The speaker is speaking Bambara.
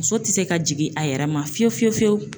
Muso tɛ se ka jigin a yɛrɛ ma fiyewu fiyewu fiyewu.